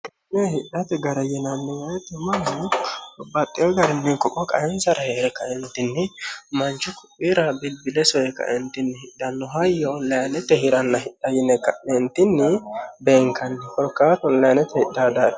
Kuni hidhate gara yinanni woyte mannu babbaxewo garinni ko'o qaenisara heere kaeenitinni manichu ko"iira bilibile soye ka"eenitinni hidhano hayyo onlinete hiranna hidha yine ka'neenitini beenikanni hakaa oinete hidhawo daafo